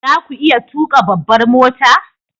Za ku iya tuka babbar mota?